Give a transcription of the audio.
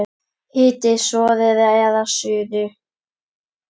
Hitið soðið að suðu.